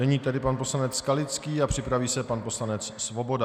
Nyní tedy pan poslanec Skalický a připraví se pan poslanec Svoboda.